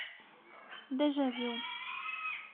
дежавю